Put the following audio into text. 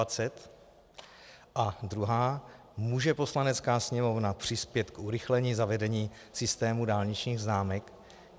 A druhá, může Poslanecká sněmovna přispět k urychlení zavedení systému dálničních známek?